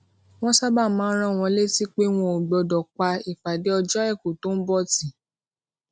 wón sábà máa ń rán wọn létí pé wọn ò gbódò pa ìpàdé ọjó aiku tó ń bò tì